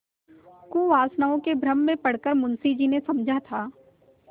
कुवासनाओं के भ्रम में पड़ कर मुंशी जी ने समझा था